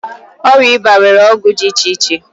Ọrịa ịba nwere ọgwụ iche iche.